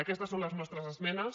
aquestes són les nostres esmenes